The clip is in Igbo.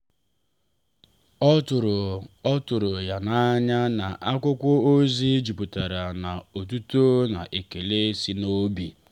ọ tụrụ ọ tụrụ ya n’anya na akwụkwọ ozi jupụtara na otuto na ekele si n’obi.